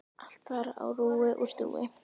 Allt þar á rúi og stúi.